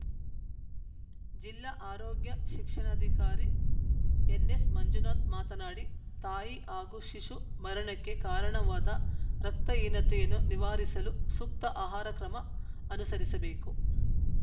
ಜಿಲ್ಲಾ ಆರೋಗ್ಯ ಶಿಕ್ಷಣಾಧಿಕಾರಿ ಎನ್‌ಎಸ್‌ಮಂಜುನಾಥ ಮಾತನಾಡಿ ತಾಯಿ ಹಾಗೂ ಶಿಶು ಮರಣಕ್ಕೆ ಕಾರಣವಾದ ರಕ್ತಹೀನತೆಯನ್ನು ನಿವಾರಿಸಲು ಸೂಕ್ತ ಆಹಾರ ಕ್ರಮ ಅನುಸರಿಸಬೇಕು